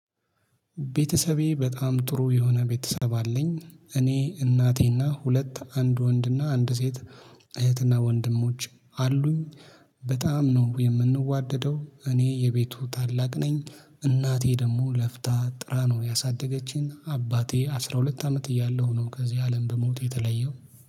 ቤተሰቤ በጣም ጥሩ የሆነ ቤተሰብ አለኝ እኔ እናቴና ሁለት አንድ ወንድና አንድ ሴት እህትና ወንድሞች አሉኝ። በጣም ነው የምንዋደደው እኔ የቤቱ ታላቅ ነኝ። እናቴ ደግሞ ለፍታ ጥራ ነው ያሳደገችኝ አባቴ አስራ ሁለት አመት እያለሁ ነው ከዚህ አለም በሞት የተለየው